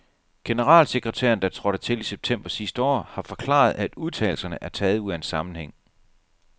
Generalsekretæren, der trådte til i september sidste år, har forklaret, at udtalelserne er taget ud af en sammenhæng.